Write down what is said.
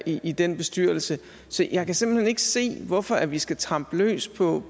i den bestyrelse så jeg kan simpelt hen ikke se hvorfor vi skal trampe løs på